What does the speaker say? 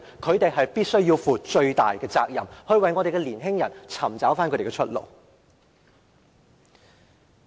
他們必須負上最大的責任，為我們的年輕人尋找出路。